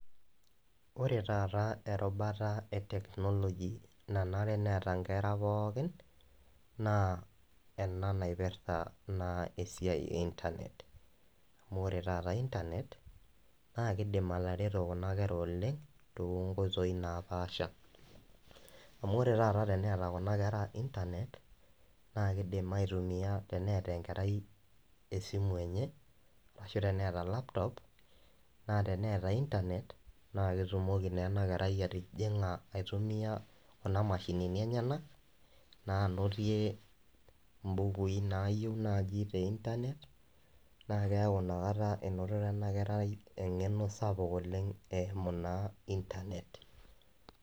kore taata erubata e teknologi nanere neata nkera pookin naa enaa naipirta naa siai ee internet amu ore taata internet naa keidim atereto kuna kera oleng tonkoitoi napaasha amu oree taata teneata kuna kera internet naa keidim aitumia eneata nkerai e simu enyee ashu teneata laptop naa teneata internet naa ketumokii naa ana kerai atijinga aitumia kuna mashinini enyanaa naa anotie mbukui naayeu naaji te internet naa keaku inia kataa einotitaa anaa kerai engeno sapuk oleng eimu naa internet